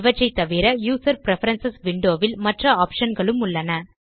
இவற்றை தவிர user preference window ல் மற்ற ஆப்ஷன் களும் உள்ளன